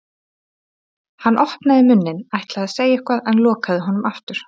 Hann opnaði munninn, ætlaði að segja eitthvað en lokaði honum aftur.